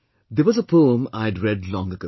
There was a poem I had read long ago